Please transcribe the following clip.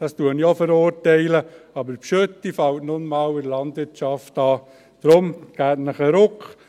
Das verurteile ich auch, aber Gülle fällt in der Landwirtschaft nun mal an.